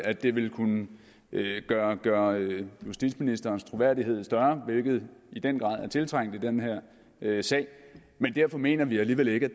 at det ville kunne gøre gøre justitsministerens troværdighed større hvilket i den grad er tiltrængt i den her sag men derfor mener vi alligevel ikke at